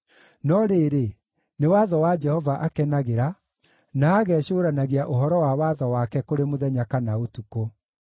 No rĩrĩ, nĩ watho wa Jehova akenagĩra, na agecũũranagia ũhoro wa watho wake kũrĩ mũthenya kana ũtukũ.